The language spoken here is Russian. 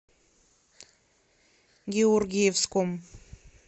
георгиевском